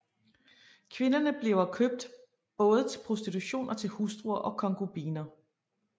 Kvinderne bliver købt både til prostitution og til hustruer og konkubiner